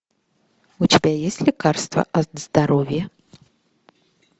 у тебя есть лекарство от здоровья